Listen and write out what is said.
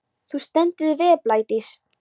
Þú stendur þig vel, Blædís!